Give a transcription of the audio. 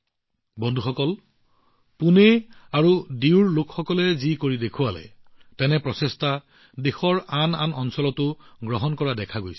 বন্ধুসকল তেওঁলোকে পুনে আৰু ডিউত যি কৰিছে সমগ্ৰ দেশৰ আন বহুতো ঠাইত এনে ধৰণৰ প্ৰচেষ্টা কৰা হৈছে